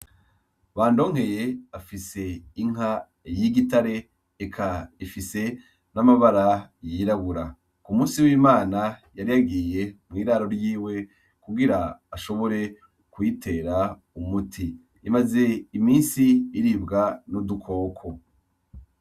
Bandonkeye afise inka y'igitare eka ifise n'amabara y'irabura, k'umusi w'imana yari yagiye mw'iraro ryiwe kugira ashobore kuyitera umuti imaze imisi iribwa n'udukoko.